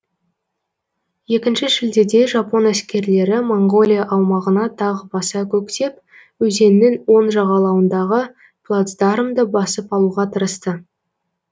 екінші шілдеде жапон әскерлері моңғолия аумағына тағы баса көктеп өзеннің оң жағалауындағы плацдармды басып алуға тырысты